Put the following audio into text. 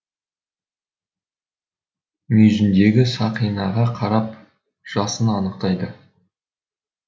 мүйізіндегі сақинаға қарап жасын анықтайды